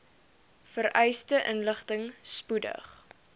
vereiste inligting spoedig